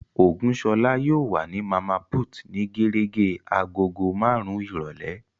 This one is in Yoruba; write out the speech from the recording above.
Ògúnṣọlá yóò wà ní Màmá put ní gérégé agogo marun-un ìrọ̀lẹ́